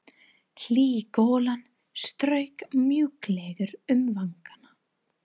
Hlý golan strauk mjúklega um vangana.